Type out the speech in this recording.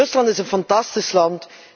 Rusland is een fantastisch land.